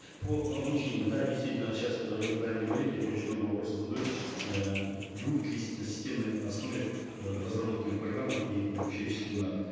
по обучению да действительно сейчас ы вы правильно говорите очень много вопросов задают эээ будут ли на системной основе ы разработаны программы и обучающие семинары